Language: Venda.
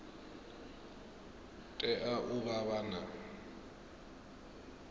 tea u vha vha na